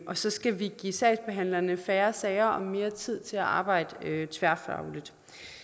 og så skal vi give sagsbehandlerne færre sager og mere tid til at arbejde tværfagligt